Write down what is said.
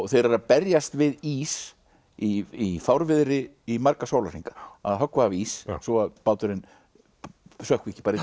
þeir eru að berjast við ís í fárviðri í marga sólarhringa að höggva af ís svo að báturinn sökkvi ekki bara í